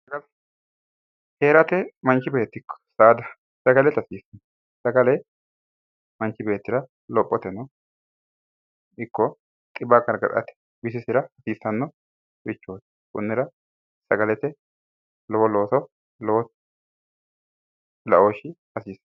Heerate manchi beetti ikko saada sagale ita hasiissawo. Sagale manchi beettira lophoteno ikko dhibba gargadhate bisisira hasiissannorichooti. Konnira sagalete lowo looso loosa laooshshi hasiisanno.